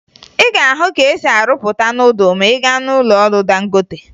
Ị ga-ahụ ka e si arụpụta nudụ ma ị gaa n'ụlọọrụ Dangote